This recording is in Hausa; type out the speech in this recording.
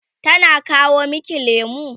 tana kawo maki lemu?